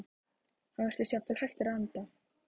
Hann virðist jafnvel hættur að anda.